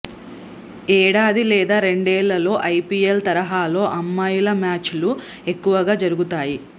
ఏడాది లేదా రెండేళ్లలో ఐపీఎల్ తరహాలో అమ్మాయిల మ్యాచ్లు ఎక్కువగా జరుగుతాయి